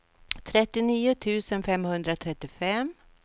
trettionio tusen femhundratrettiofem